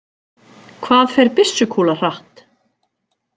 Hvað fer byssukúla hratt?